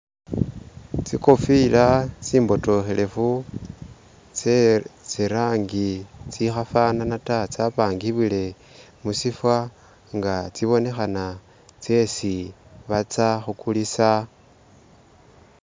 Tsikofila tsimbotokhelefu tse tsi'rangi tsi khafanana taa tsapangibwile musifwa nga tsibonekhana tsesi batsa khukulisa.